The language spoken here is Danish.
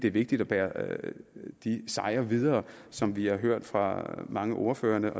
er vigtigt at bære de sejre videre som vi har hørt fra mange af ordførerne